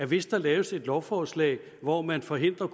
hvis der laves et lovforslag hvor man forhindrer